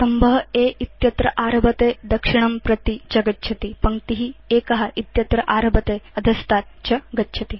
स्तम्भ A इत्यत्र आरभते दक्षिणं प्रति च गच्छति पङ्क्ति 1 इत्यत्र आरभते अधस्तात् च गच्छति